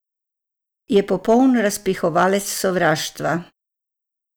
Je popoln razpihovalec sovraštva.